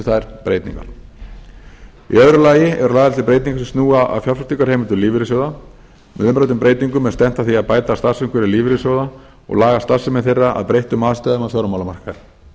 þær breytingar í öðru lagi eru lagðar til breytingar sem snúa að fjárfestingarheimildum lífeyrissjóða með umræddum breytingum er stefnt að því að bæta starfsumhverfi lífeyrissjóða og laga starfsemi þeirra að breyttum aðstæðum á fjármálamarkaði